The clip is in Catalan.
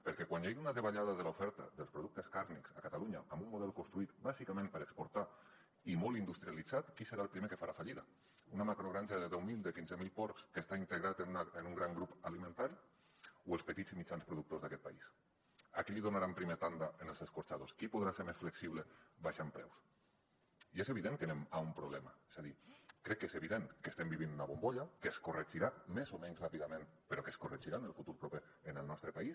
perquè quan hi hagi una davallada de l’oferta dels productes carnis a catalunya amb un model construït bàsicament per exportar i molt industrialitzat qui serà el primer que farà fallida una macrogranja de deu mil de quinze mil porcs que està integrada en un gran grup alimentari o els petits i mitjans productors d’aquest país a qui li donaran primer tanda en els escorxadors qui podrà ser més flexible abaixant preus i és evident que anem a un problema és a dir crec que és evident que estem vivint una bombolla que es corregirà més o menys ràpidament però que es corregirà en el futur proper en el nostre país